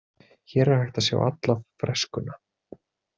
Hér er hægt að sjá alla freskuna.